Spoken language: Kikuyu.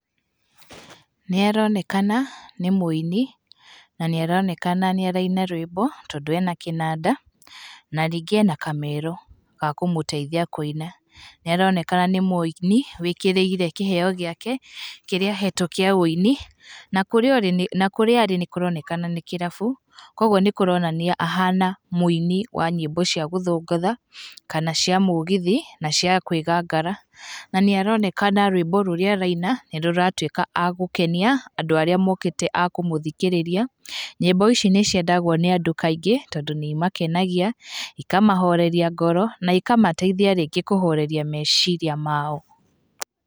Nĩ aronekana nĩ mũini, na nĩ aronekana nĩ araina rwĩmbo tondũ ena kĩnanda na rĩngĩ ena kamero ga kũmũteithia kũina. Nĩ aronekana nĩ mũini wĩkĩrĩire kĩheo gĩake kĩrĩa ahetwo kĩa wũini, na kũrĩa ũrĩ, na kũrĩa arĩ nĩ kũronekana nĩ kĩrabu koguo nĩ kũroneka ahana mũini wa nyĩmbo cia gũthũngũtha, kana cia mũgithi, na cia kwĩgangara. Na nĩ aronekana rwĩmbo rurĩa araina nĩ rũratuĩka a gũkenia andũ arĩa mokĩte a kũmũthikĩrĩria. Nyĩmbo ici nĩ ciendagwo nĩ andũ kaingĩ tondũ nĩ imakenagia, ikamahoreria ngoro na ikamateithia rĩngĩ kũhoreria meciria mao.